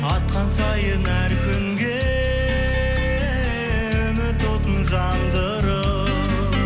атқан сайын әр күнге үміт отын жандырып